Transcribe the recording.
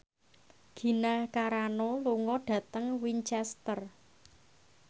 Gina Carano lunga dhateng Winchester